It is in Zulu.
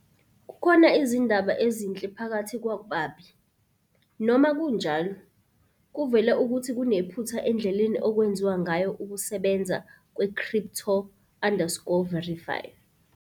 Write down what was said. Kukhona izindaba ezinhle phakathi kwababi, noma kunjalo. Kuvela ukuthi kunephutha endleleni okwenziwa ngayo ukusebenza kwe- "crypto_verify".